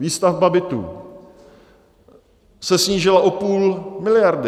Výstavba bytů se snížila o půl miliardy.